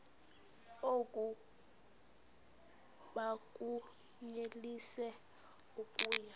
oku bakunyelise okuya